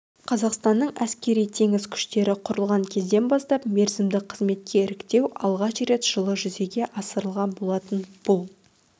қазақстанның әскери-теңіз күштері құрылған кезден бастап мерзімді қызметке іріктеу алғаш рет жылы жүзеге асырылған болатын бұл